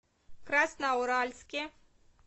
красноуральске